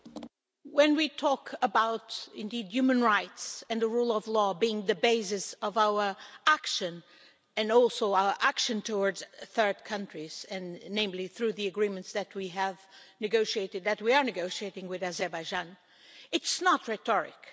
Mr President, when we talk about human rights and the rule of law being the basis of our action, and our action towards third countries, namely through the agreements that we have negotiated that we are negotiating with Azerbaijan it's not rhetoric.